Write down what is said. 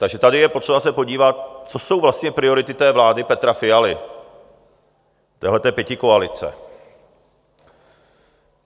Takže tady je potřeba se podívat, co jsou vlastně priority té vlády Petra Fialy, téhleté pětikoalice.